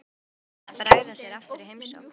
Þá væri gaman að bregða sér aftur í heimsókn.